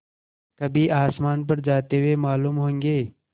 कभी आसमान पर जाते हुए मालूम होंगे